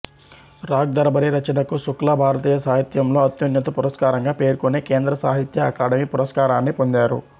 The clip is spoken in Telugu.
రాగ్ దర్బారీ రచనకు శుక్లా భారతీయ సాహిత్యంలో అత్యున్నత పురస్కారంగా పేర్కొనే కేంద్ర సాహిత్య అకాడమీ పురస్కారాన్ని పొందారు